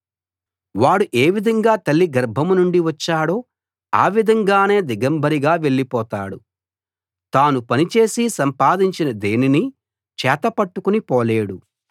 వాడు ఏ విధంగా తల్లి గర్భం నుండి వచ్చాడో ఆ విధంగానే దిగంబరిగా వెళ్ళిపోతాడు తాను పని చేసి సంపాదించినా దేనినీ చేతపట్టుకుని పోలేడు